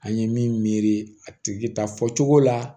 An ye miniri a tigi ta fɔcogo la